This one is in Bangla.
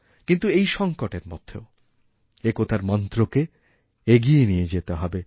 কিন্তুএই সংকটের মধ্যেও একতার মন্ত্রকে এগিয়ে নিয়ে যেতে হবে